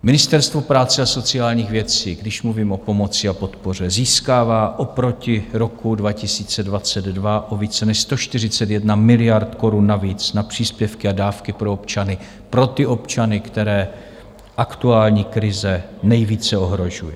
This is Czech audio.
Ministerstvo práce a sociálních věcí, když mluvím o pomoci a podpoře, získává oproti roku 2022 o více než 141 miliard korun navíc na příspěvky a dávky pro občany, pro ty občany, které aktuální krize nejvíce ohrožuje.